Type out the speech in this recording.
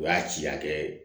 O y'a ci hakɛ ye